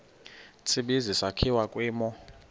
tsibizi sakhiwa kwimo